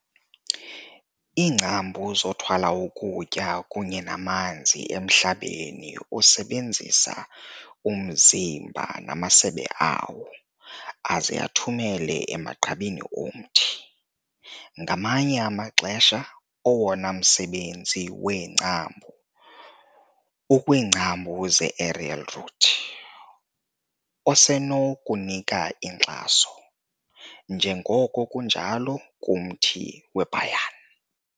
Iingcambu zothwala ukutya kunye namanzi emhlabeni usebenzisa umzimba namasebe awo, aze athumele emagqabini omthi. Ngamanye amaxesha, owona msebenzi weengcambu ukwiingcambu zeaerial root, osenokunika inkxaso, njengoko kunjalo kumthi weiBhanyan.